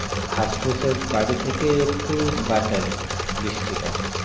ঘাসপুসের বাড়ি থেকে একটু বাঁচা যায়